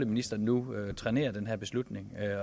ministeren nu trænerer den her beslutning